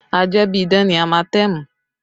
Ajẹ́bíidán ni amatẹmù